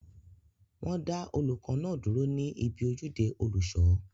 Wọ́n dá olùkọ́ náà dúró ní ibi ojúde olùṣọ